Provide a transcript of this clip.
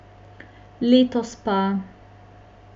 Letos pa ...